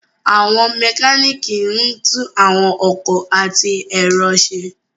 Àwọn mekaniki ńtun àwọn ọkọ ati ẹrọ ṣe